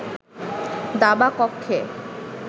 দাবা কক্ষে